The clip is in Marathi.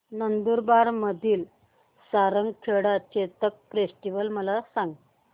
नंदुरबार मधील सारंगखेडा चेतक फेस्टीवल मला सांग